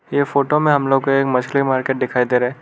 ये फोटो में हम लोग को एक मछली मार्केट दिखाई दे रहा है।